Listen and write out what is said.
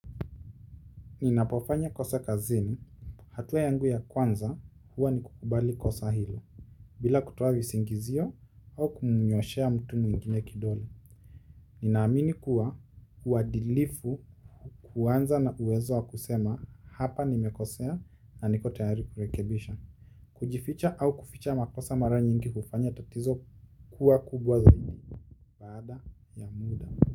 Ninapofanya kosa kazini hatua yangu ya kwanza huwa ni kukubali kosa hilo bila kutoa visingizio au kumnyoshea mtu mwingine kidole ninaamini kuwa uadilifu huanza na uwezo wa kusema hapa nimekosea na niko tayari kurekebisha. Kujificha au kuficha makosa mara nyingi hufanya tatizo kuwa kubwa zaidi baada ya muda.